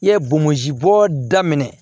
I ye bomozi bɔ daminɛ